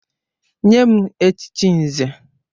Nye m echichi Nze!